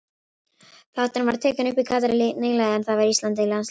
Þátturinn var tekinn upp í Katar nýlega en þar var Ísland í landsliðsverkefni.